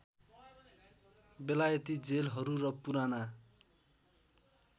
बेलायती जेलहरू र पुराना